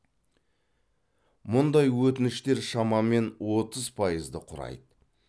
мұндай өтініштер шамамен отыз пайызды құрайды